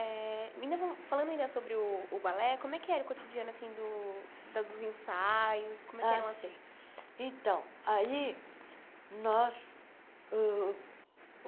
minha von Falando ainda sobre o o balé, como é que era o cotidiano assim do dos ensaios? como é que eram assim então aí nós uh